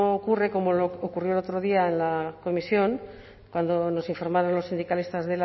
ocurre como ocurrió el otro día en la comisión cuando nos informaron los sindicalistas